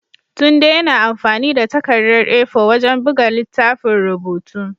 Tunde yana amfani da takardar A4 wajen buga littafin rubutu.